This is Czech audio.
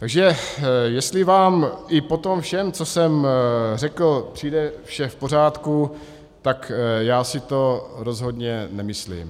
Takže jestli vám i po tom všem, co jsem řekl, přijde vše v pořádku, tak já si to rozhodně nemyslím.